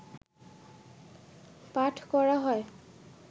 পাঠ করা হয়